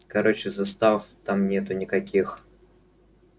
короче застав там нету никаких